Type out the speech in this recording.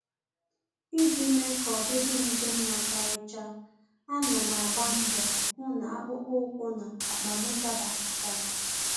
Iji mee ka ọdịdị m dị mma karịcha, ana m agba mbọ hụ na akpụkpọ ụkwụ na akpa m dabakọtara